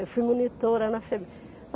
Eu fui monitora na Febem.